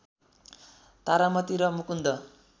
तारामती र मुकुन्द